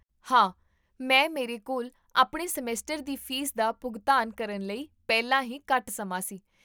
ਹਾਂ, ਮੈਂ ਮੇਰੇ ਕੋਲ ਆਪਣੇ ਸਮੈਸਟਰ ਦੀ ਫੀਸ ਦਾ ਭੁਗਤਾਨ ਕਰਨ ਲਈ ਪਹਿਲਾਂ ਹੀ ਘੱਟ ਸਮਾਂ ਸੀ